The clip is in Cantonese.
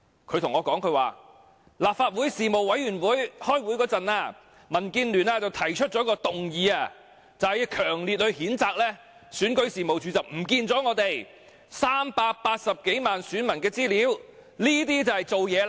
她說民建聯在立法會政制事務委員會開會時提出一項議案，要強烈譴責選舉事務處遺失380多萬名選民資料，這就是做事了。